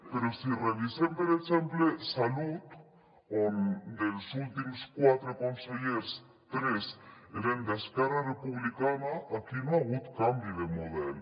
però si revisem per exemple salut on dels últims quatre consellers tres eren d’esquerra republicana aquí no hi ha hagut canvi de model